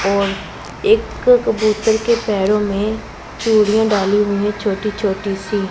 और एक कबूतर के पैरों में चूड़ियां डाली हुई है छोटी छोटी सी--